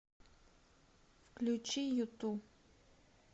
включи юту